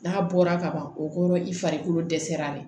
N'a bɔra kaban o kɔrɔ i farikolo dɛsɛra le